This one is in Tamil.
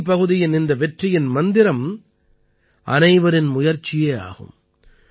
தீவ் பகுதியின் இந்த வெற்றியின் மந்திரம் அனைவரின் முயற்சியே ஆகும்